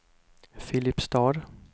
Filipstad